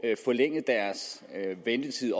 forlænget deres ventetid